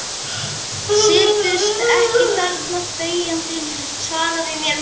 Sittu ekki þarna þegjandi, svaraðu mér, manneskja.